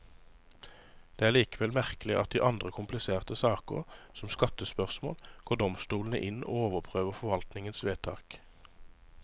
Det er likevel merkelig at i andre kompliserte saker, som skattespørsmål, går domstolene inn og overprøver forvaltningens vedtak.